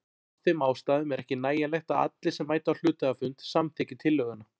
Af þeim ástæðum er ekki nægjanlegt að allir sem mæta á hluthafafund samþykki tillöguna.